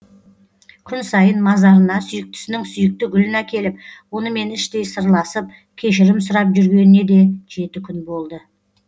күн сайын мазарына сүйіктісінің сүйікті гүлін әкеліп онымен іштей сырласып кешірім сұрап жүргеніне де жеті күн болды